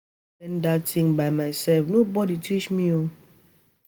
Na me wey learn dat thing by myself no body teach me